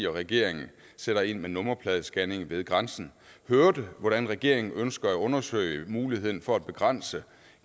regeringen sætter ind med nummerpladescanning ved grænsen hørte hvordan regeringen ønsker at undersøge muligheden for at begrænse